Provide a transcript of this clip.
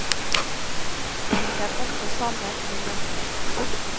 Det henger også sammen med mørket.